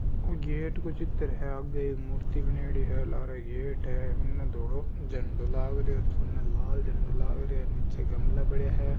ओ gate का चित्र है आगे मूर्ति बनेड़ी है लारे गेट है धोलो झंडा लग रहा इने लाल झंडा लग रही है नीचे गमला पड़ा है।